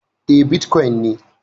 E, bitkwon ne